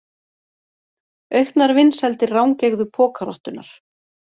Auknar vinsældir rangeygðu pokarottunnar